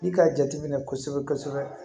N'i k'a jate minɛ kosɛbɛ kosɛbɛ